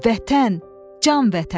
Vətən, can Vətən.